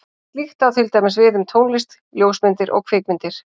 Slíkt á til dæmis við um tónlist, ljósmyndir og kvikmyndir.